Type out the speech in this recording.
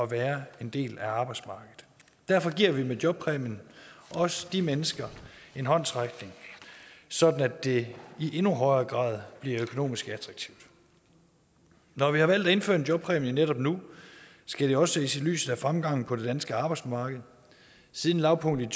være en del af arbejdsmarkedet derfor giver vi med jobpræmien også de mennesker en håndsrækning sådan at det i endnu højere grad bliver økonomisk attraktivt når vi har valgt at indføre en jobpræmie netop nu skal det også ses i lyset af fremgangen på det danske arbejdsmarked siden lavpunktet i